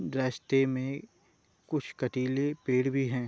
रस्ते में कुछ कटीले पेड़ भी है।